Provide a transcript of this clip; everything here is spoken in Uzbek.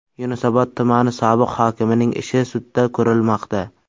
Yunusobod tumani sobiq hokimining ishi sudda ko‘rilmoqda.